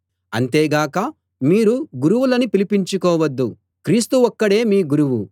అంతే గాక మీరు గురువులని పిలిపించుకోవద్దు క్రీస్తు ఒక్కడే మీ గురువు